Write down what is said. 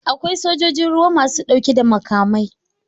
Akwai sojojin ruwa masu dauke da makamai.